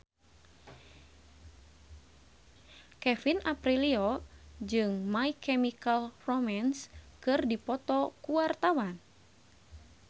Kevin Aprilio jeung My Chemical Romance keur dipoto ku wartawan